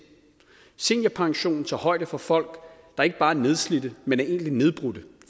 seniorpensionen tager højde for folk der ikke bare er nedslidte men er egentlig nedbrudte